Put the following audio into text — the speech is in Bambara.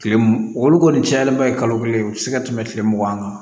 Kile m olu kɔni cayalen ba ye kalo kelen u ti se ka tɛmɛ tile mugan kan